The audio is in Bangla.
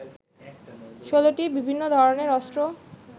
১৬টি বিভিন্ন ধরনের অস্ত্র